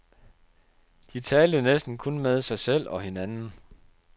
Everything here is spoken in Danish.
De talte næsten kun med sig selv og hinanden.